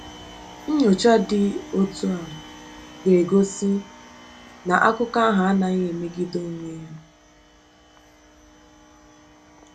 Nnyocha dị otu a ga-egosi na akụkọ ahụ anaghị emegide onwe ya.